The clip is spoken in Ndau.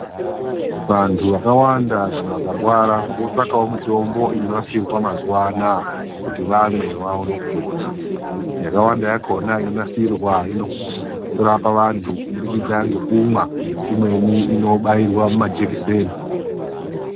Vantu vakawanda kana vakarwara votsvagawo mitombo inonasirwa mazuva anaya kuti vamwe vaone, yakawanda yakhona inonasirwa inorapa vantu kubudikidza ngekumwa imweni inobairwa mumajekiseni.